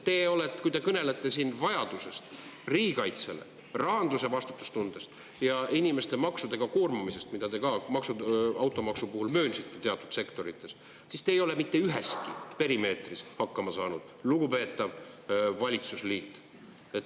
Te kõnelete siin riigikaitse vajadusest, vastutustundest rahanduses ja inimeste maksudega koormamisest, mida te ka automaksu puhul möönsite teatud sektorites, aga te ei ole mitte üheski perimeetris hakkama saanud, lugupeetav valitsusliit.